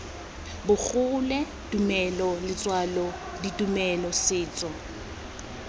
bogole tumelo letswalo ditumelo setso